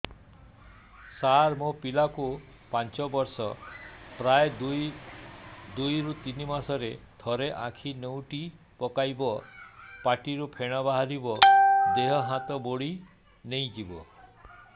ସାର ମୋ ପିଲା କୁ ପାଞ୍ଚ ବର୍ଷ ପ୍ରାୟ ଦୁଇରୁ ତିନି ମାସ ରେ ଥରେ ଆଖି ନେଉଟି ପକାଇବ ପାଟିରୁ ଫେଣ ବାହାରିବ ଦେହ ହାତ ମୋଡି ନେଇଯିବ